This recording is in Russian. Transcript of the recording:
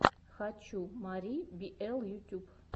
хочу мари биэл ютюб